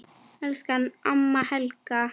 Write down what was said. Elsku amma Helga.